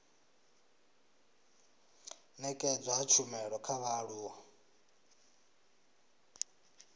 nekedzwa ha tshumelo kha vhaaluwa